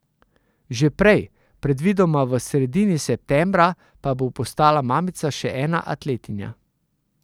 Že prej, predvidoma v sredini septembra, pa bo postala mamica še ena atletinja.